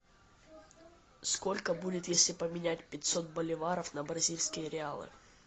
сколько будет если поменять пятьсот боливаров на бразильские реалы